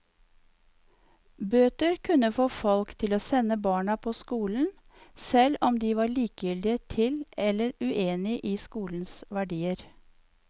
Bøter kunne få folk til å sende barna på skolen, selv om de var likegyldige til eller uenige i skolens verdier.